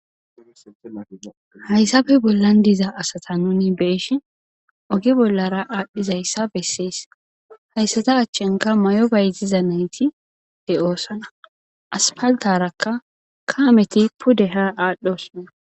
Hayssafe bollan diza asata nuni beeshi oge bollara aadhdhizayssa bessees hayssata achchinka may7o baytiza nayti he oosana aspaltarakka kaameti puddeha aadhdhosona.